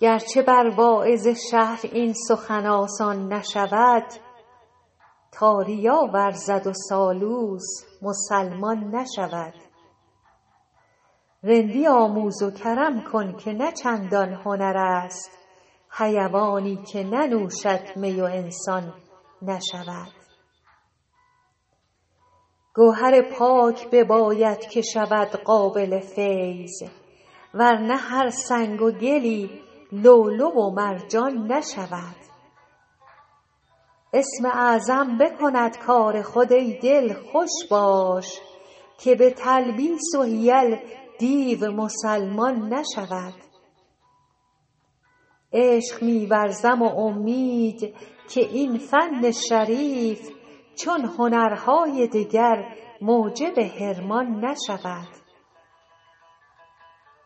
گر چه بر واعظ شهر این سخن آسان نشود تا ریا ورزد و سالوس مسلمان نشود رندی آموز و کرم کن که نه چندان هنر است حیوانی که ننوشد می و انسان نشود گوهر پاک بباید که شود قابل فیض ور نه هر سنگ و گلی لؤلؤ و مرجان نشود اسم اعظم بکند کار خود ای دل خوش باش که به تلبیس و حیل دیو مسلمان نشود عشق می ورزم و امید که این فن شریف چون هنرهای دگر موجب حرمان نشود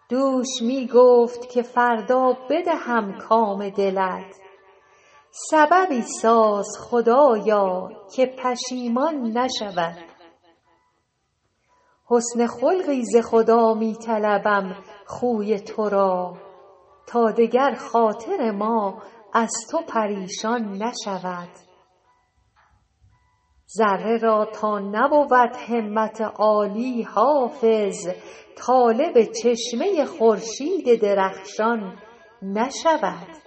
دوش می گفت که فردا بدهم کام دلت سببی ساز خدایا که پشیمان نشود حسن خلقی ز خدا می طلبم خوی تو را تا دگر خاطر ما از تو پریشان نشود ذره را تا نبود همت عالی حافظ طالب چشمه خورشید درخشان نشود